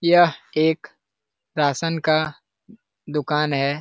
यह एक रासन का दुकान है।